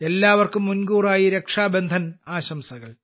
എല്ലാവർക്കും മുൻകൂറായി രക്ഷാബന്ധൻ ആശംസകൾ